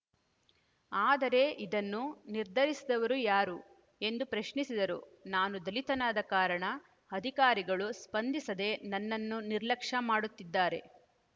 ಆದರೆ ಇದನ್ನು ನಿರ್ಧರಿಸಿದವರು ಯಾರು ಎಂದು ಪ್ರಶ್ನಿಸಿದರು ನಾನು ದಲಿತನಾದ ಕಾರಣ ಅಕಾರಿಗಳು ಸ್ಪಂದಿಸದೆ ನನ್ನನು ನಿರ್ಲಕ್ಷ್ಯ ಮಾಡುತ್ತಿದ್ದಾರೆ